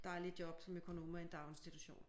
Dejlige job som økonoma i en daginstitution